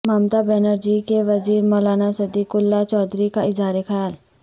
ممتابنری جی کے وزیر مولانا صدیق اللہ چودھری کا اظہار خیال